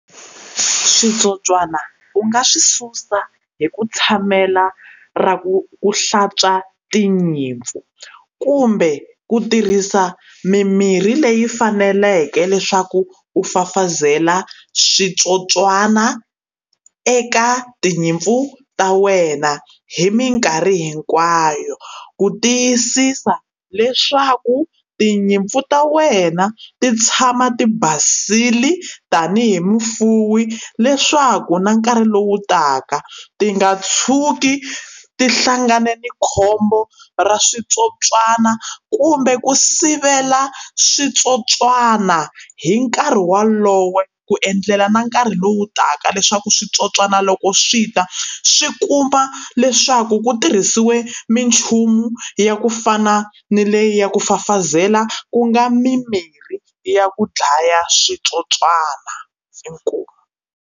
Switsotswana u nga swi susa hi ku tshamela ra ku ku hlantswa tinyimpfu kumbe ku tirhisa mimirhi leyi faneleke leswaku ku fafazela switsotswana eka tinyimpfu ta wena hi minkarhi hinkwayo ku tiyisisa leswaku tinyimpfu ta wena ti tshama ti basile tanihi mufuwi leswaku na nkarhi lowu taka ti nga tshuki ti hlangane na khombo ra switsotswana kumbe ku sivela switsotswana hi nkarhi wolowo ku endlela na nkarhi lowu taka leswaku switsotswana loko swi ta swi kumba leswaku ku tirhisiwe minchumu ya ku fana ni leyi ya ku fafazela ku nga mimirhi ya ku dlaya switsotswana inkomu.